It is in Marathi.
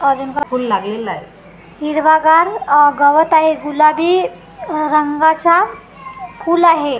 फुल लागलेला आहे हिरवागारअ गवत आहे गुलाबी रंगाचा फुल आहे .